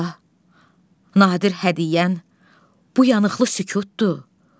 Yoxsa, nadir hədiyyən bu yanıqlı sükutdur?